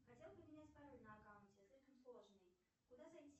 хотел поменять пароль на аккаунте слишком сложный куда зайти